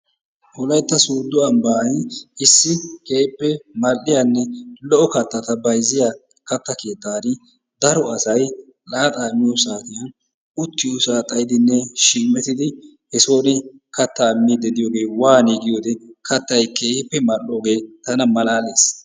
Wolaytta sodo ambbay issi keehippe mal'iyaanne lo'o kaattata bayziyaa kaatta keettan daro asay laaxa miyo saattiyan uttiyossa xayidinne shiimettidi he sooni kaatta miidi diyoogge waani giyodde kaattay keehippe mal'ogge tana maalalis.